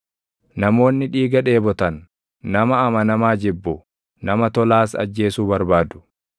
Namoonni dhiiga dheebotan, nama amanamaa jibbu; nama tolaas ajjeesuu barbaadu.